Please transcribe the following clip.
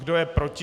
Kdo je proti?